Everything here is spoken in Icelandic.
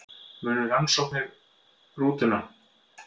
Munu rannsaka rútuna